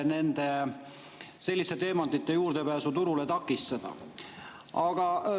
Selliste teemantide pääsu turule püütakse igati takistada.